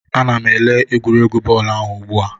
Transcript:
Ana m ele egwuregwu bọọlụ ahụ ugbu a